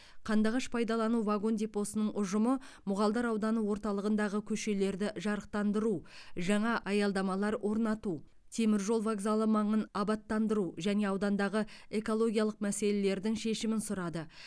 қандыағаш пайдалану вагон депосының ұжымы мұғалдар ауданы орталығындағы көшелерді жарықтандыру жаңа аялдамалар орнату темір жол вокзалы маңын абаттандыру және аудандағы экологиялық мәселелердің шешімін сұрады